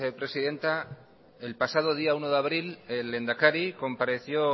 presidenta el pasado día uno de abril el lehendakari compareció